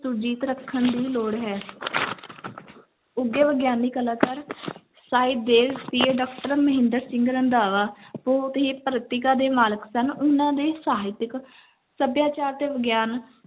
ਸੁਰਜੀਤ ਰੱਖਣ ਦੀ ਲੋੜ ਹੈ ਉੱਘੇ ਵਿਗਿਆਨੀ ਕਲਾਕਾਰ ਸਾਹਿਬ ਦੇਵ PA doctor ਮਹਿੰਦਰ ਸਿੰਘ ਰੰਧਾਵਾ ਬਹੁਤ ਹੀ ਪ੍ਰਤਿਕਾ ਦੇ ਮਾਲਕ ਸਨ, ਉਹਨਾਂ ਦੇ ਸਾਹਿਤਿਕ ਸਭਿਆਚਾਰ ਤੇ ਵਿਗਿਆਨ